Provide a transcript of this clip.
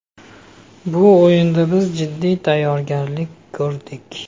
Bu o‘yinga biz jiddiy tayyorgarlik ko‘rdik.